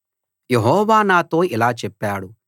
యెహోవా నాతో ఇలా చెప్పాడు